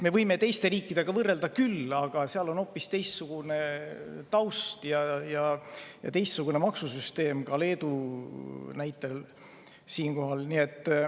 Me võime teiste riikidega võrrelda küll, aga seal on hoopis teistsugune taust ja teistsugune maksusüsteem, ka Leedu näite puhul siinkohal.